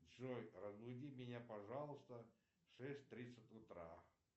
джой разбуди меня пожалуйста в шесть тридцать утра